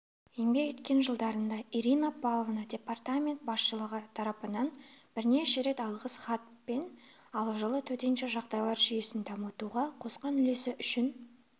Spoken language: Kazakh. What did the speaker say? еңбек еткен жылдарында ирина павловна департамент басшылығы тарапынан бірнеше рет алғыс хатпен ал жылы төтенше жағдайлар жүйесін дамытуға қосқан үлесі үшін